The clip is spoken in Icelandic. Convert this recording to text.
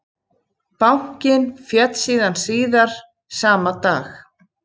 Bankinn féll síðan síðar sama dag